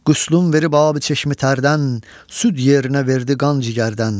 Qüslünü verib abi çeşmi tərdən, süd yerinə verdi qan ciyərdən.